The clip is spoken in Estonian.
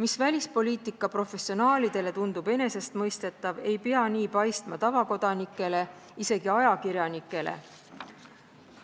Mis välispoliitika professionaalidele tundub enesestmõistetav, ei pea nii paistma tavakodanikele, isegi mitte ajakirjanikele,